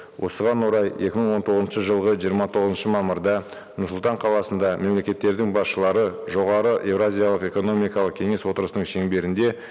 осыған орай екі мың он тоғызыншы жылғы жиырма тоғызыншы мамырда нұр сұлтан қаласында мемлекеттердің басшылары жоғары еуразиялық экономикалық кеңес отырысының шеңберінде